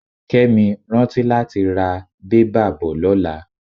Kẹ́mi, rántí láti ra bẹ́bà bò lọ́la.